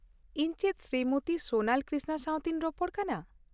ᱤᱧ ᱪᱮᱫ ᱥᱨᱤᱢᱚᱛᱤ ᱥᱳᱱᱟᱞ ᱠᱨᱤᱥᱱᱟ ᱥᱟᱶᱛᱮᱧ ᱨᱚᱯᱚᱲ ᱠᱟᱱᱟ ?